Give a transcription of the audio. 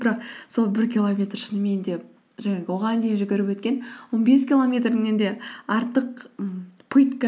бірақ сол бір километр шынымен де жаңағы оған дейін жүгіріп өткен он бес километріңнен де артық ммм пытка